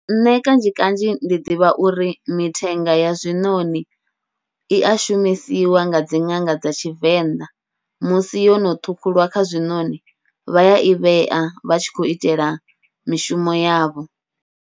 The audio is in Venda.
Nṋe kanzhi kanzhi ndi ḓivha uri mithenga ya zwiṋoṋi ia shumisiwa nga dzi ṅanga dza Tshivenḓa, musi yono ṱhukhuliwa kha zwiṋoṋi vha yai vhea vha tshi khou itela mishumo yavho.